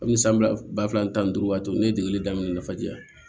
Komi san fila ba fila ni tan ni duuru waati ne ye degeli daminɛ nafa jɛ